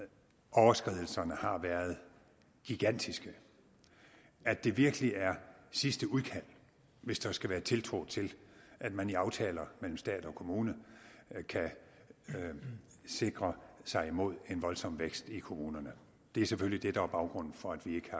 at overskridelserne har været gigantiske at det virkelig er sidste udkald hvis der skal være tiltro til at man i aftaler mellem stat og kommune kan sikre sig mod en voldsom vækst i kommunerne det er selvfølgelig det der er baggrunden for at vi